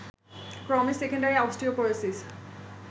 ক্রমে secondary osteoporosis